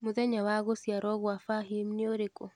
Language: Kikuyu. mũthenya wa gũciarwo gwa fahim niũrĩkũ